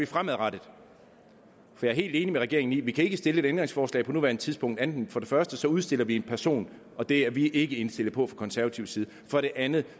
fremadrettet jeg er helt enig med regeringen i at vi ikke kan stille et ændringsforslag på nuværende tidspunkt uden for det første at udstille en person og det er vi ikke indstillet på fra konservativ side og for det andet